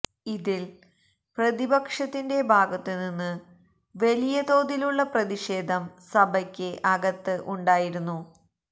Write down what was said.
ഇതില് പ്രതിപക്ഷത്തിന്റെ ഭാഗത്തു നിന്ന് വലിയ തോതിലുള്ള പ്രതിഷേധം സഭയ്ക്ക് അകത്ത് ഉണ്ടായിരുന്നു